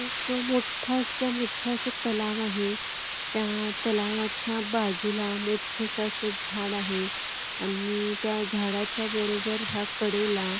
एक मोठंसं मोठं असं तलाव आहे त्या तलावाच्या बाजूला मोठंसं असं झाड आहे आणि त्या झाडाच्या बरोबर ह्या कडेला--